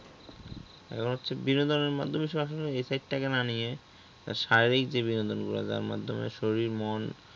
এখন হচ্ছে সরাসরি effect তা কে না নিয়ে তা শারীরিক দিয়ে বিনোদন গুলি যার মাধ্যমে শরীর মন